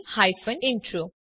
જોડાવા બદ્દલ આભાર